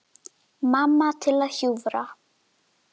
Mamma til að hjúfra.